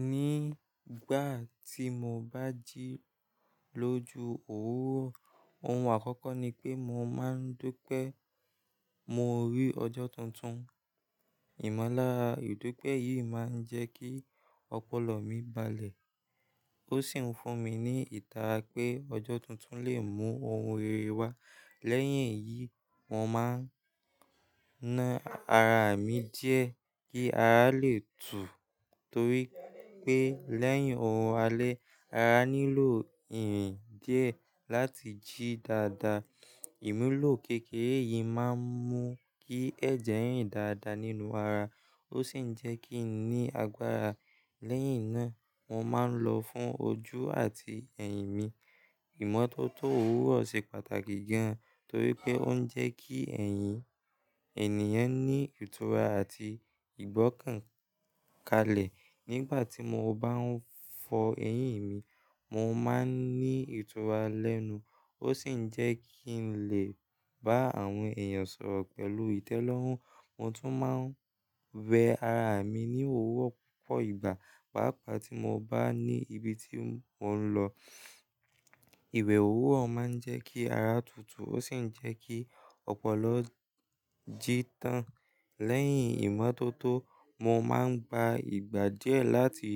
Nígbà tí mo bá jí lójú òwúrọ̀, ohun àkọ́kọ́ ni pé mo máa ń dúpẹ́ mo rí ọjọ́ tuntun. Ìmọ̀lára ìdúpẹ́ yìí máa ń jẹ́ kí ọpọlọ mi balẹ̀. Ó sì ń fún mi ní ìtara pé ọjọ́ tuntun lè mú ohun rere wá. Lẹ́yìn èyí, mo máa ń ná ara mi díẹ̀ kí ara lè tú torí pé lẹ́yìn orun alẹ́ ara nílò ìrin dìé láti jí dáadáa. Ìmúlò kékeré yìí máa ń mú kí ẹ̀jẹ̀ rìn dáadáa nínú ara, ó sì ń jẹ́ kí n ní agbára. Lẹ́yìn náà mo máa ń lọ fún ojú àti ẹ̀yìn mi. Ìmọ́tótó òwúrọ̀ ṣe pàtàkì gan torí pé ó ń jẹ́ kí ẹ̀yìn ènìyàn ní ìtura àti ìgbọ́kàn kalẹ̀. Nígbà tí mo bá ń fọ ẹyìn mi, mo máa ń ní ìtura lẹ́nu, ó sì ń jẹ́ kí n lè bá àwọn èèyàn sọ̀rọ̀ pẹ̀lú ìtẹ́lọ́rùn. Mo tún máa ń wẹ̀ ara mi ní òwúrọ̀ púpọ̀ ìgbà pàápàá tí mo bá ní ibi tí mo ń lọ. Ìwé òwúrọ̀ máa ń jẹ́ kí ara tutù ó sì ń jẹ́ kí ọpọlọ jí tán. Lẹ́yìn ìmọ́tótó, mo máa ń gba ìgbà díẹ̀ láti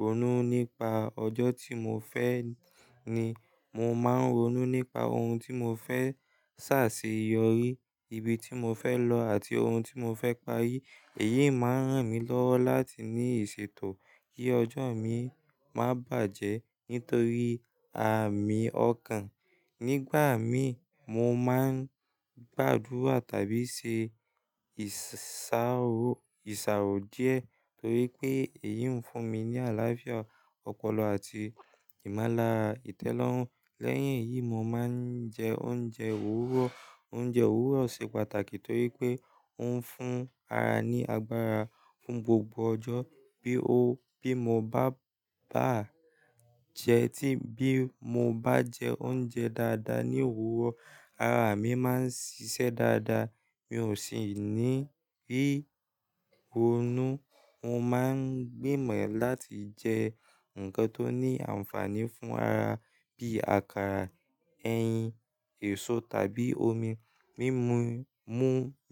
ronú nípa ọjọ́ tí mo fẹ́ ni. Mo máa ń ronú nípa ohun tí mo fẹ́ ṣàṣeyọrí, ibi tí mo fẹ́ lọ àti ohun tí mo fẹ́ parí. Èyí máa ń ràn mí lọ́wọ́ láti ní ìṣètò kí ọjọ́ mi má bàjẹ́ nítorí àmì ọkàn. Nígbà mii mo máa ń gbàdúrà tàbí ṣe ìṣàrò ìṣàrò díẹ̀ torí pé èyí ń fún mi ní àlàáfíà ọpọlọ àti ìmọ́lára ìtẹ́lọ́rùn. Lẹ́yìn èyí, mo máa ń jẹ oúnjẹ òwúrọ̀. Oúnjẹ òwúrọ̀ ṣe pàtàkì torípé òun fún ara ní agbára fún gbogbo ọjọ́. Bí o bí mo bá bá jẹ́ tí bí mo bá jẹ oúnjẹ dáadáa ní òwúrọ̀ ara mi máa ń ṣiṣẹ́ dáadáa. Mi ò sì ní rí ronú. Mo máa ń gbìmọ̀ láti jẹ nǹkan tó ní ànfàní fún ara bí àkàrà, ẹyin, èso tàbí omi. Mímú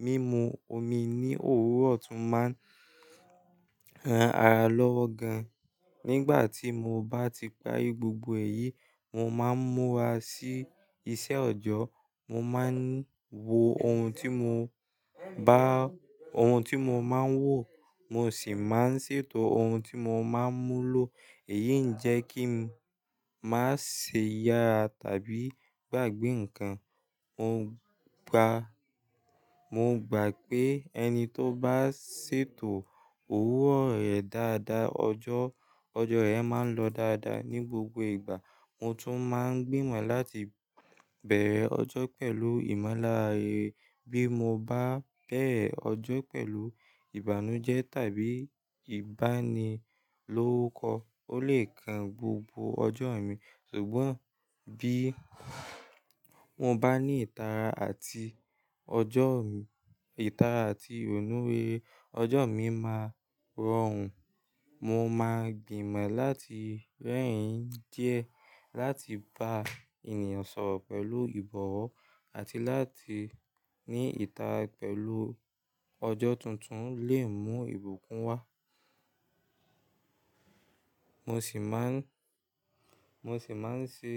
mímú omi ní òwúrọ̀ tún máa ń ran ara lọ́wọ́ gan. Nígbà tí mo bá ti parí gbogbo èyí, mo máa ń múra sí iṣẹ́ ọjọ́ọ. Mo máa ń wo ohun tí mo bá ohun tí mo máa ń wò, mo sì máa ń ṣètò ohun tí mo máa ń mú lọ. Èyí ń jẹ́ kí n má ṣe yára tàbí gbàgbé nǹkan. Mo gbàá, mo gbà pé ẹni tóbá ṣètò òwúrọ̀ rẹ̀ dáadáa, ọjọ́ rẹ̀ máa ń lọ dáadáa ní gbogbo ìgbà. Mo tún máa ń gbìmọ̀ láti bẹ̀rẹ̀ ọjọ́ pẹ̀lú ìmọ́lára. Bí mo bá bẹ̀rẹ̀ ọjọ́ pẹ̀lú ìbànújẹ́ tàbí ìbani lórúkọ, ó lè kan gbogbo ọjọ́ mi ṣùgbọ́n bí mo bá ní ìtara àti ọjọ́ mi ìtara àti òníwe, ọjọ́ mi máa rọrùn. Mo máa gbìmọ̀ láti rẹ́rìn díẹ̀ láti bá ènìyàn sọ̀rọ̀ pẹ̀lú ìbọ̀wọ̀ àti láti ní ìtara pẹ̀lú ọjọ́ tuntun lee mú ìbùkún wá. Mo sì má ń mo sì máa ń ṣe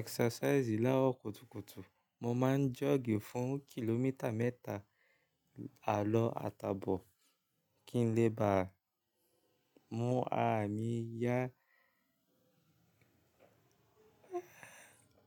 exercise larọ kùtùkùtù. Mo máa ń jog fún kìlómítà mẹ́ta àlọ́ àtabọ̀ kí n lè bá mú ara mi yá.